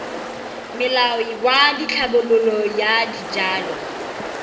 molao wa tlhabololo ya dijalo